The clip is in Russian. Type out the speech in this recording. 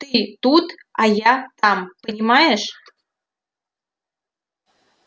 ты тут а я там понимаешь